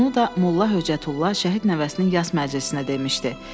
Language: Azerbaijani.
Bunu da Molla Höcətullah şəhid nəvəsinin yas məclisinə demişdi.